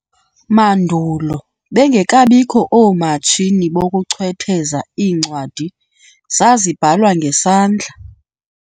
Mandulo, bengekabikho oomatshini bokuchwetheza, iincwadi zazibhalwa ngesandla.